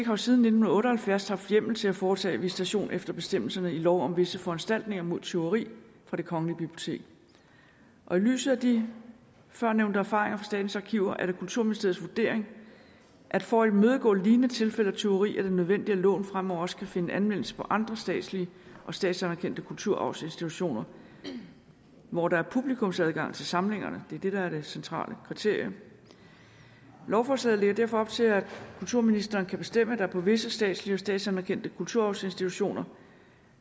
jo siden nitten otte og halvfjerds haft hjemmel til at foretage visitation efter bestemmelserne i lov om visse foranstaltninger mod tyveri fra det kongelige bibliotek i lyset af de førnævnte erfaringer statens arkiver er det kulturministeriets vurdering at for at imødegå lignende tilfælde af tyverier er det nødvendigt at loven fremover også kan finde anvendelse på andre statslige og statsanerkendte kulturarvsinstitutioner hvor der er publikumsadgang til samlingerne det er det der er det centrale kriterie lovforslaget lægger derfor op til at kulturministeren kan bestemme at der på visse statslige og statsanerkendte kulturarvsinstitutioner